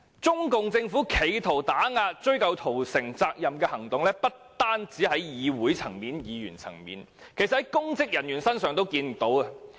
中共政府企圖打壓追究屠城責任的行動，不單在議會和議員層面，其實在公職人員身上也看得到。